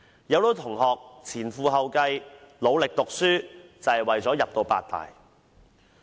很多同學前赴後繼，努力讀書，便是為了入讀八大。